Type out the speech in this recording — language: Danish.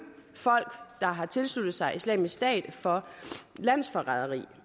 folk der har tilsluttet sig islamisk stat for landsforræderi